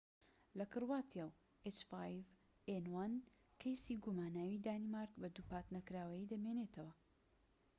کەیسی گوماناوى h5n1 لە کرواتیا و دانیمارک بە دووپات نەکراویی دەمێنێتەوە